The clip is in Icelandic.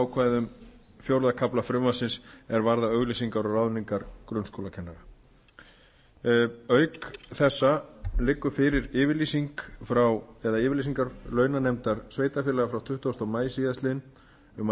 ákvæðum fjórða kafla frumvarpsins er varðar auglýsingar og ráðningar grunnskólakennara auk þessa liggja fyrir yfirlýsingar launanefndar sveitarfélaga frá tuttugasta maí síðastliðinn um að